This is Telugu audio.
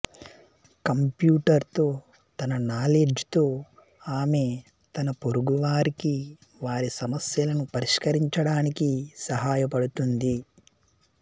కంప్యూటర్ తో తన నాలెడ్జ్ తో ఆమె తన పొరుగువారికి వారి సమస్యలను పరిష్కరించడానికి సహాయపడుతుంది